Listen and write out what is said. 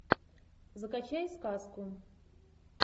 закачай сказку